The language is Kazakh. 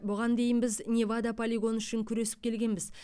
бұған дейін біз невада полигоны үшін күресіп келгенбіз